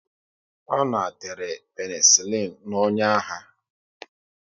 Ọ na tere penesilin n'ọnyà ya